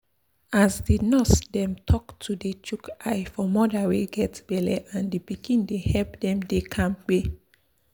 as di nurse dem talk to dey chook eye for moda wey get belle and di pikin dey help dem dey kampe.